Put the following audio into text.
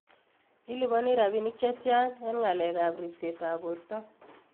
Iliponi rapinik chetyan en ngalekap ripsetap borto?